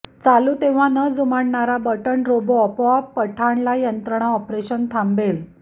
चालू तेव्हा न जुमानणारा बटण रोबो आपोआप पठाणला यंत्रणा ऑपरेशन थांबेल